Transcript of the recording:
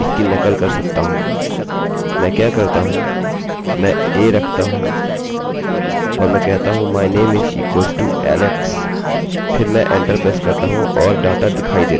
मैं क्या करता हूँ मैं a रखता हूँ और मैं कहता हूँ my name is equals to alex फिर मैं एंटर प्रेस करता हूँ और डाटा दिखाई देता है